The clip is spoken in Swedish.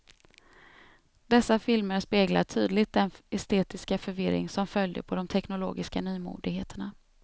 Dessa filmer speglar tydligt den estetiska förvirring som följde på de teknologiska nymodigheterna.